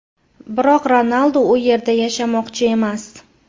Biroq Ronaldu u yerda yashamoqchi emas.